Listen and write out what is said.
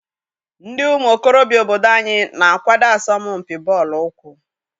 Ndị ụmụ okorobịa obodo anyị na-akwado asọmpi bọọlụ ụkwụ.